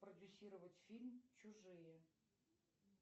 продюсировать фильм чужие